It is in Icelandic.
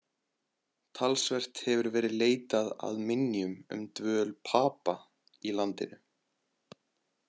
Talsvert hefur verið leitað að minjum um dvöl Papa í landinu.